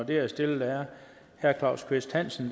og det er stillet af herre claus kvist hansen